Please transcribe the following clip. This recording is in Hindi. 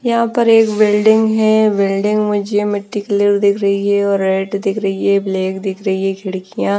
यहाँ पर एक बिल्डिंग है बिल्डिंग मुझे मिट्टी कलर दिख रही है और रेड दिख रही है ब्लैक दिख रही है खिड़कियाँ --